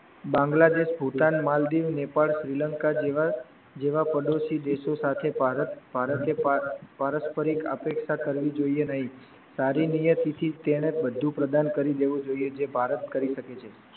બાંગલાદેશ, ભૂટાન, મલદિવસ, નેપાળ, શ્રીલંકા જેવા જેવા પડોસી દેશો સાથે ભારતે પારસ્પરિક આપેક્ષા કરવી જોઈ એ નહીં, સારી નિયતિ થી બધુ પ્રદાન કરી દેવું જોઈ એ જે ભારત કરી શકે છે.